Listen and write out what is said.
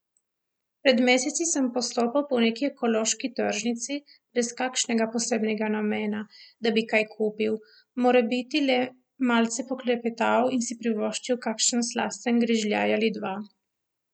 Pred meseci sem postopal po neki ekološki tržnici, brez kakšnega posebnega namena, da bi kaj kupil, morebiti le malce poklepetal in si privoščil kakšen slasten grižljaj ali dva.